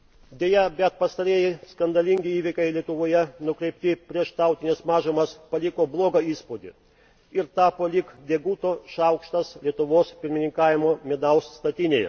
Deja, bet pastarieji skandalingi įvykiai Lietuvoje, nukreipti prieš tautines mažumas, paliko blogą įspūdį ir tapo lyg deguto šaukštas Lietuvos pirmininkavimo medaus statinėje.